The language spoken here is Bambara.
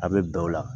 A bɛ bɛn o la